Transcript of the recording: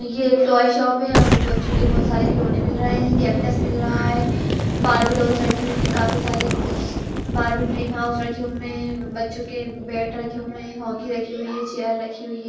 ये एक toy shop है। यहां पे बच्चों के बहुत सारे खिलौने मिल रहे हैं कैक्टस मिल रहा है बार्बी डॉल्स रखी हुई हैं काफी सारी। बार्बी ड्रीम हाउस है रखे हुए हैं। बच्चों के बैट रखे हुए हैं हॉकी रखी हुई है चेय रखी हुई है।